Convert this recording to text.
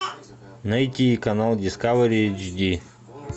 найти канал дискавери эйч ди